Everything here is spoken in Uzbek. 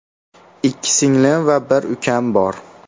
Ikki singlim va bir ukam bor.